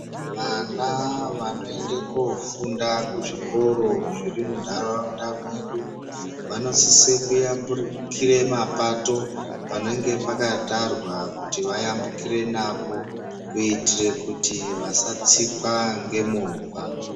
Vana vanoenda kunofunda kuzvikora zviri mundaraunda mwedu vanosise kuyambukire mapato panenge pakatwara kuti vayambukire napo kuitire kuti vasatsikwa ngemovha.